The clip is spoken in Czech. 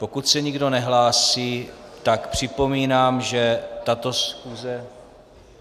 Pokud se nikdo nehlásí, tak připomínám, že tato schůze...